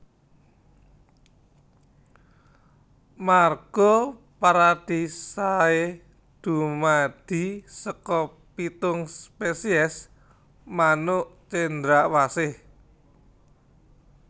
Marga Paradisaea dumadi saka pitung spesies manuk cendrawasih